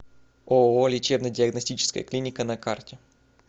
ооо лечебно диагностическая клиника на карте